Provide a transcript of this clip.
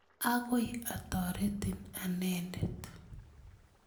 Akoi atoretin anendet.